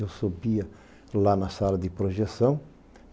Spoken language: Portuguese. Eu subia lá na sala de projeção.